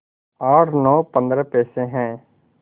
आठ नौ पंद्रह पैसे हैं